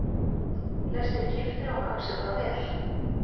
Flestir giftir og haga sér bara vel.